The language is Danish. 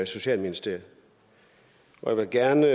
socialministeriet jeg vil gerne